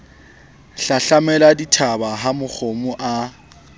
hlahlamela dithaba ha makgomo a